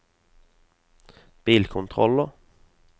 bilkontroller